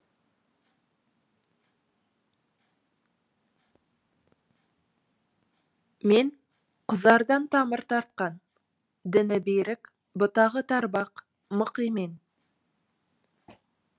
мен құзардан тамыр тартқан діңі берік бұтағы тарбақ мық емен